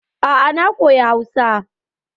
A'a na koya Hausa.